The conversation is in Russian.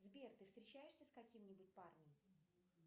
сбер ты встречаешься с каким нибудь парнем